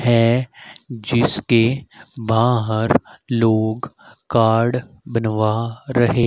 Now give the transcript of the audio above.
है जिसके बाहर लोग कार्ड बनवा रहे--